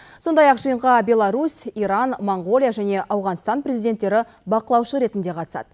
сондай ақ жиынға беларусь иран моңғолия және ауғанстан президенттері бақылаушы ретінде қатысады